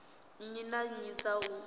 nnyi na nnyi dza u